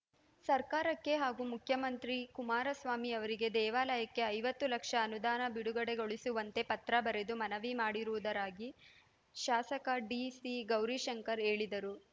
ಸರ್ಕಾರಕ್ಕೆ ಹಾಗೂ ಮುಖ್ಯಮಂತ್ರಿ ಕುಮಾರಸ್ವಾಮಿ ಅವರಿಗೆ ದೇವಾಲಯಕ್ಕೆ ಐವತ್ತು ಲಕ್ಷ ಅನುದಾನ ಬಿಡುಗಡೆಗೊಳಿಸುವಂತೆ ಪತ್ರ ಬರೆದು ಮನವಿ ಮಾಡಿರುವುದಾಗಿ ಶಾಸಕ ಡಿಸಿ ಗೌರಿಶಂಕರ್ ಹೇಳಿದರು